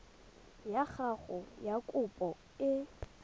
ya gago ya kopo e